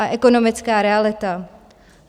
A ekonomická realita?